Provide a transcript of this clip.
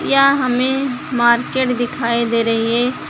यहाँ हमें मार्केट दिखाई दे रही है।